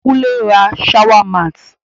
Kúnle n ra shower mat